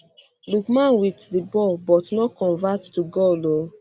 lookman wit di ball but no convert to goal oooo